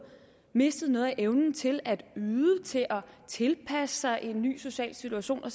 mistet noget af evnen til at yde til at tilpasse sig en ny social situation